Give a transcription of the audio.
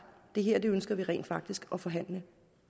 det her ønsker vi rent faktisk at forhandle